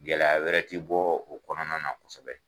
Gɛlɛya wɛrɛ ti bɔ o kɔnɔna na kosɛbɛ.